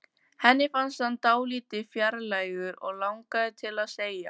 Henni fannst hann dálítið fjálglegur, og langaði til að segja